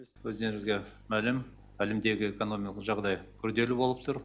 өздеріңізге мәлім әлемдегі экономикалық жағдай күрделі болып тұр